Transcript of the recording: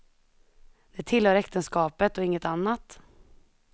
Det tillhör äktenskapet och inget annat.